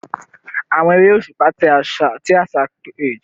Awọn ere oṣupa ti aṣa pese awọn irọlẹ ti ayọ ati ibaramu ni igba atijọ